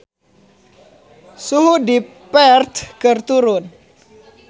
Suhu di Perth keur turun